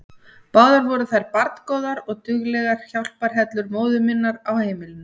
Báðar voru þær barngóðar og duglegar hjálparhellur móður minnar á heimilinu.